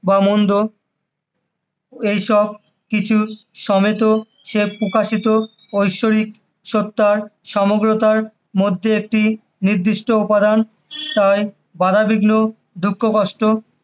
ভালোমন্দ বা এইসব কিছু সমেত সে প্রকাশিত ঐশরিক সত্তার সমগ্রতার মধ্যে একটি নির্দিষ্ট উপাদান, তাই বাধাবিঘ্ন দুঃখকষ্ট